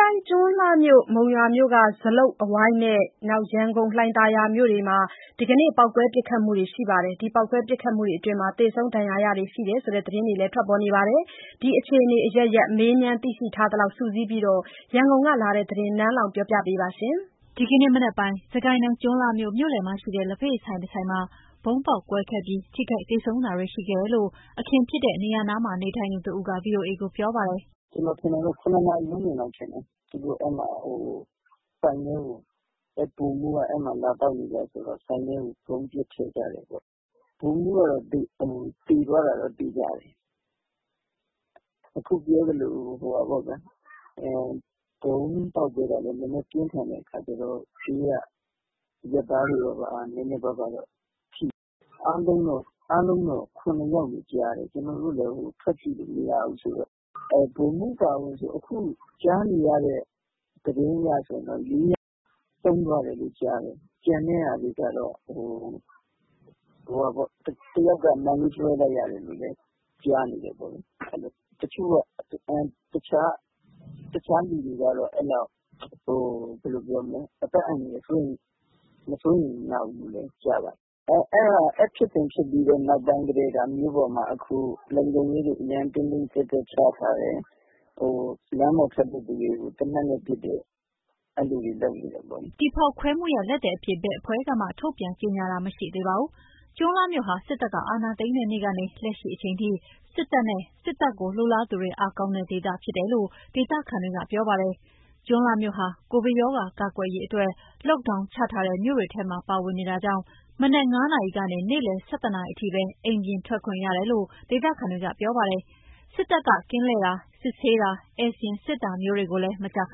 တိုင်း၊ ကျွန်းလှမြို့၊ မုံရွာမြို့က ဇလုပ်အဝိုင်းနဲ့ ရန်ကုန်၊ လှိုင်သာယာမြို့တို့မှာ ဒီကနေ့ ပေါက်ကွဲ ပစ်ခတ်မှုတွေရှိခဲ့ပြီး သေဆုံး ဒဏ်ရာရတာတွေရှိတယ်ဆိုတဲ့ သတင်းတွေ ထွက်ထားပါတယ်။ ဒီအခြေအနေအရပ်ရပ် မေးမြန်း သိရှိထားသလောက်စုစည်းပြီး ရန်ကုန်ကလာတဲ့သတင်းကို နန်းလောင်ဝ်က ပြောပြပါမယ်။ ဒီကနေ့မနက်ပိုင်းက စစ်ကိုင်းတိုင်း ကျွန်းလှမြို့ မြို့လည်မှာရှိတဲ့ လက်ဖက်ရည်ဆိုင်တဆိုင်မှာ ဗုံးပေါက်ကွဲခဲ့ပြီး ထိခိုက် သေဆုံးတာတွေရှိခဲ့တယ်လို့ အခင်းဖြစ်တဲ့နေရာနားမှာ နေထိုင်သူတဦးက ဗွီအိုအေကိုပြောပါတယ်။ “ကျနော်ထင်တာတော့ ၇ နာရီဝန်းကျင်လောက်ထင်တယ်။ သူတို့ဆိုင်ထဲကို၊ အဲဒီဗိုလ်မှူးက အဲဒီမှာ လာသောက်နေကျဆိုတော့ ဆိုင်ထဲကို ပစ်ထည့်လိုက်တယ်ပေါ့။ ဗိုလ်မှူးကတော့ သေသွားတာတော့ သေချာတယ်။ ဗုံးပေါက်တာကလည်း နည်းနည်းပြင်းထန်တဲ့အခါကျတော့ ဘေးကအရပ်သားတွေတော့ နည်းနည်းပါးပါးတော့ထိတယ်။ အားလုံးတော့ ထိတာ ၇ ယောက်လို့ကြားတယ်။ ကျနော်တို့လည်း အပြင်ထွက်ပြီးကြည့်လို့မရတော့လေ။ ဗိုလ်မှူးအပါအဝင် ခုထိကြားနေရတဲ့ သတင်းတွေအရဆိုရင် ၄ ယောက် ဆုံးသွားတယ်လို့ ကြားတယ်။ ကျန်တဲ့တချို့ကတော့ အသက် အန္တရာယ် မစိုးရိမ်ရဘူးလို့တော့ ကြားပါတယ်။ အဲဒီဖြစ်စဉ်ဖြစ်ပြီးနောက်ပိုင်း အခု မြို့ပေါ်မှာ လုံခြုံရေးတွေ အရမ်းတင်းတင်းကြပ်ကြပ်ချထားတယ်။ လမ်းပေါ်ထွက်တဲ့သူတွေကို သေနတ်နဲ့ပစ်တယ်၊ အဲ့လိုတွေ လုပ်နေတယ်ပေါ့လေ။” ဒီဖောက်ခွဲမှုရဲ့လက်သည်အဖြစ် ဘယ်အဖွဲ့ကမှ ထုတ်ပြန်ကြေညာတာ မရှိသေးပါဘူး။ ကျွန်းလှမြို့ဟာ စစ်တပ်က အာဏာသိမ်းတဲ့နေ့ကနေ လက်ရှိအချိန်ထိ စစ်တပ်နဲ့ စစ်တပ်လိုလားသူတွေ အားကောင်းတဲ့ဒေသဖြစ်တယ်လို့ ဒေသခံတွေက ပြောပါတယ်။ ကျွန်းလှမြို့ဟာ ကိုဗစ်ရောဂါ ကာကွယ်ရေးအတွက် Lockdown ချထားတဲ့ မြို့တွေထဲမှာ ပါဝင်နေတာကြောင့် မနက် ၅ နာရီကနေ နေ့လယ် ၁၁ နာရီအထိပဲ အိမ်ပြင်ထွက်ခွင့်ရတယ်လို့ ဒေသခံတွေက ပြောပါတယ်။ စစ်တပ်က ကင်းလှည့်တာ၊ စစ်ဆေးတာ၊ ဧည့်စာရင်းစစ်တာမျိုးတွေကိုလည်း မကြာခ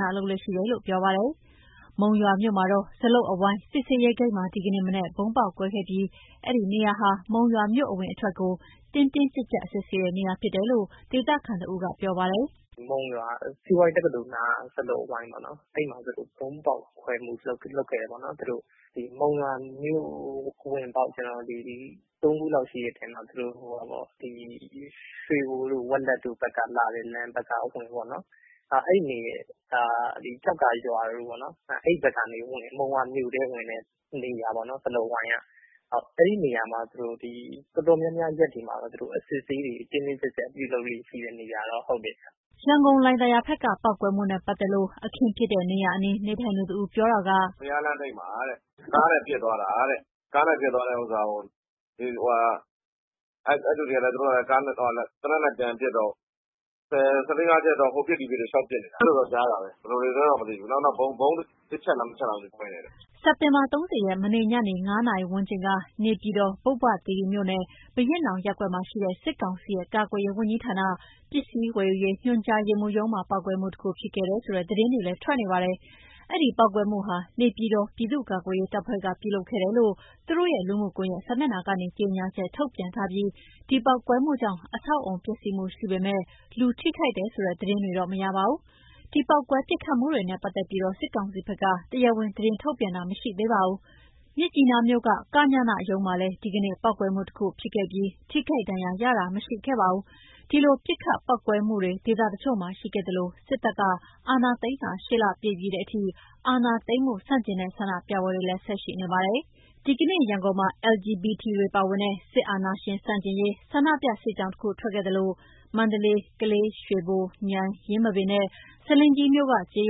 ဏလုပ်လေ့ရှိတယ်လို့ ပြောပါတယ်။ မုံရွာမြို့မှာတော့ ဇလုပ်အဝိုင်း စစ်ဆေးရေးဂိတ်မှာ ဒီကနေ့မနက်က ဗုံးပေါက်ကွဲခဲ့ပြီး အဲဒီနေရာဟာ မုံရွာမြို့ အဝင်အထွက်ကို တင်းတင်းကြပ်ကြပ် စစ်ဆေးတဲ့နေရာဖြစ်တယ်လို့ ဒေသခံတဦးက ပြောပါတယ်။ “မုံရွာစီးပွားရေးတက္ကသိုလ်နားက ဇလုပ်အဝိုင်းပေါ့နော်။ အဲ့မှာ သူတို့ Monywa UG ၊ Monywa The Boy အဖွဲ့တွေက ဗုံးဖောက်ခွဲမှု ပြုလုပ်ခဲ့တယ်ပေါ့နော်။ မုံရွာမြို့ဝင်ပေါက် သုံးခုလောက်ရှိတဲ့ထဲမှာ ဒီဟာက ရွှေဘိုတို့၊ ဝက်လက်တို့ ဘက်က အဝင်ပေါ့နော်၊ ကျောက္ကာရွာဘက်ကနေ မုံရွာမြို့ထဲကို ဝင်တဲ့နေရာပေါ့နော်၊ ဇလုပ်အဝိုင်းက။ အဲဒီနေရာမှာ သူတို့ ဒီ တော်တော်များများရက်တွေမှာတော့ အစစ်အဆေးတွေ တင်းတင်းကြပ်ကြပ် ရှိတဲ့နေရာဗျ။” ရန်ကုန်၊ လှိုင်သာယာဘက်က ပေါက်ကွဲမှုနဲ့ပတ်သက်လို့တော့ အခင်းဖြစ်တဲ့နေရာအနီး နေထိုင်သူတဦး ပြောပြတာက - “ဘုရားလမ်းထိပ်မှာ ကားနဲ့ လာပစ်သွားတာတဲ့။ ကားနဲ့ပစ်သွားတာကို အဲ့လူတွေကလည်း သေနတ်နဲ့ ပြန်ပစ်တော့ ၁၄/၅ ချက်လောက် ဟိုပစ်ဒီပစ်တွေ လိုက်ပစ်နေတာ။ အဲ့လိုတော့ ကြားတာပဲ။ ဘယ်လိုတွေလဲတော့ မသိဘူး။ နောက် ဗုံး တချက်လား နှစ်ချက်လား မသိဘူး ကွဲတယ်တဲ့။” စက်တင်ဘာ ၃၀ ရက် မနေ့ညနေ ၅ နာရီဝန်းကျင်က နေပြည်တော် ပုဗ္ဗသီရိမြို့နယ်၊ ဘုရင့်နောင်ရပ်ကွက်မှာရှိတဲ့ စစ်ကောင်စီရဲ့ ကာကွယ်ရေးဝန်ကြီးဌာန၊ ပစ္စည်းဝယ်ယူရေးညွှန်ကြားရေးမှူးရုံးမှာ ပေါက်ကွဲမှုတခု ဖြစ်ခဲ့တယ်ဆိုတဲ့ သတင်းတွေလည်း ထွက်နေပါတယ်။အဲ့ဒီပေါက်ကွဲမှုဟာ နေပြည်တော် ပြည်သူ့ကာကွယ်ရေးတပ်ဖွဲ့က ပြုလုပ်ခဲ့တယ်လို့ သူတို့ရဲ့ လူမှုကွန်ယက်စာမျက်နှာကနေ ကြေညာချက် ထုတ်ပြန်ထားပြီး ဒီပေါက်ကွဲမှုကြောင့် အဆောက်အအုံ ပျက်စီးမှုရှိပေမယ့် လူထိခိုက်တယ်ဆိုတဲ့ သတင်းတွေတော့မရပါဘူး။ ဒီ ပေါက်ကွဲပစ်ခတ်မှုတွေနဲ့ပတ်သက်ပြီး စစ်ကောင်စီဘက်က တရားဝင် သတင်းထုတ်ပြန်တာတော့ မရှိသေးပါဘူး။ မြစ်ကြီးနားမြို့က ကညနရုံးမှာလည်း ဒီကနေ့ ပေါက်ကွဲမှုတခု ဖြစ်ခဲ့ပြီး ထိခိုက်ဒဏ်ရာရတာ မရှိခဲ့ပါဘူး။ ဒီလို ပစ်ခတ် ပေါက်ကွဲမှုတွေ ဒေသတချို့မှာ ရှိခဲ့သလို စစ်တပ်က အာဏာသိမ်းတာ ၈ လပြည့်ပြီးတဲ့အထိ အာဏာသိမ်းမှု ဆန့်ကျင်တဲ့ ဆန္ဒပြပွဲတွေကလည်း ဆက်ရှိနေပါတယ်။ ဒီကနေ့ ရန်ကုန်မှာ LGBT တွေပါဝင်တဲ့ စစ်အာဏာရှင်ဆန့်ကျင်ရေး ဆန္ဒပြ စစ်ကြောင်းတခု ထွက်ခဲ့သလို မန္တလေး၊ ကလေး၊ ရွှေဘို၊ မြိုင်၊ ယင်းမာပင်နဲ့ ဆားလင်းကြီးမြို့က ကျေး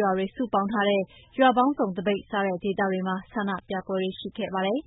ရွာတွေ စုပေါင်းထားတဲ့ ရွာပေါင်းစုံ သပိတ် စတဲ့ဒေသတွေမှာ ဆန္ဒပြပွဲတွေရှိခဲ့ပါတယ်။